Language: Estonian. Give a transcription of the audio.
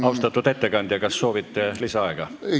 Austatud ettekandja, kas soovite lisaaega?